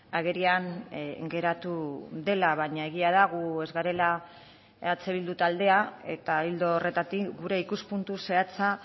agerian geratu dela baina egia da gu ez garela eh bildu taldea eta ildo horretatik gure ikuspuntu zehatza